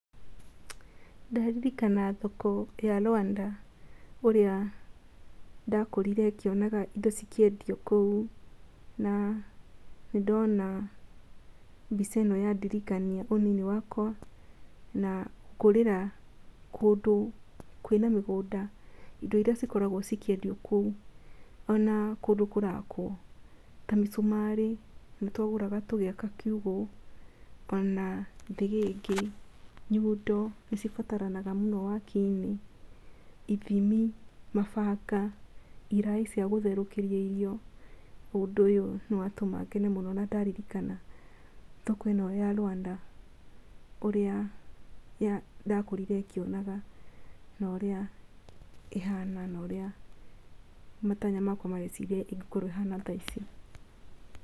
Ndaririkana thoko ya Rwanda ũrĩa ndakũrire ngĩonaga indo cikĩendio kũu na nĩ ndona mbica ĩno ya ndirikania ũnini wakwa na kũrĩra kũndũ kwĩna mĩgũnda, indo iria cikoragwo ikĩendio kũu ona kũndũ kũrakwo ta mĩcumarĩ nĩ tũgũraga tũgĩaka kigũ ona thĩgĩngĩ, nyundo nĩ cibataragana mũno wakinĩ, ithimi, mabanga, iraĩ cia gũtherũkĩria irio. Ũndũ ũyũ nĩ watũma ngene mũno na ndaririkana thoko ĩno ya Rwanda ũrĩa ndakũrire ngĩonaga na ũrĩa ĩhana na ũrĩa matanya makwa mareciria ũrĩa ĩngikorwo ĩhana thaici.